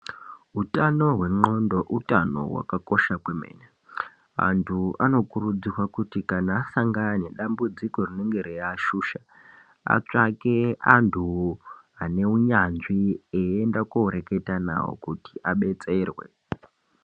Hutano hwendxondo hutano hwakakosha kwemene. Antu anokurudzirwa kuti kana asangana nedambudziko rinenge reiashusha atsvake antu ane unyanzvi eienda koreketa navo kuti abetserwe.